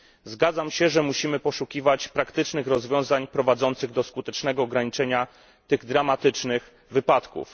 Zgadzam się, że musimy poszukiwać praktycznych rozwiązań, prowadzących do skutecznego ograniczenia tych dramatycznych wypadków.